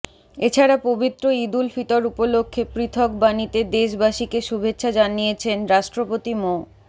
এছাড়া পবিত্র ঈদুল ফিতর উপলক্ষে পৃথক বাণীতে দেশবাসীকে শুভেচ্ছা জানিয়েছেন রাষ্ট্রপতি মো